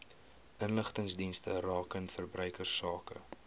inligtingsdienste rakende verbruikersake